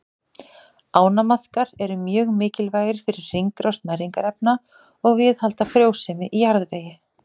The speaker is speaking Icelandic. Ánamaðkar eru mjög mikilvægir fyrir hringrás næringarefna og viðhald frjósemi í jarðvegi.